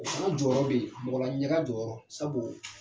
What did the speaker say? O fana jɔyɔrɔ be yen, mɔgɔla ɲaga jɔyɔrɔ, sabu